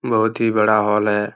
बहुत ही बड़ा हॉल है ।